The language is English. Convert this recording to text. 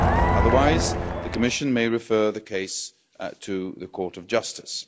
otherwise, the Commission may refer the case to the Court of Justice.